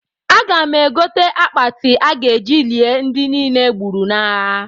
Aga m egote akpati a ga-eji lie ndị niile e gburu n'agha